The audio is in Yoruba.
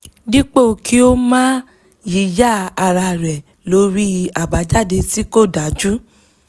dípò kí ó máa yíyà árá rẹ̀ lórí abajade tí kò dájú